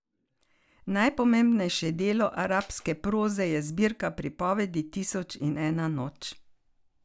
Najpomembnejše delo arabske proze je zbirka pripovedi Tisoč in ena noč.